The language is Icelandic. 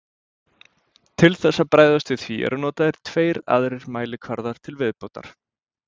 Til þess að bregðast við því eru notaðir tveir aðrir mælikvarðar til viðbótar.